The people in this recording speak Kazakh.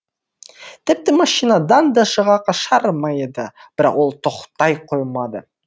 тіпті машинадан да шыға қашар ма еді бірақ ол тоқтай қоймады